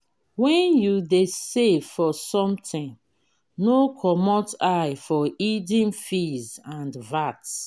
when you dey save for something no comot eye for hidden fees and vat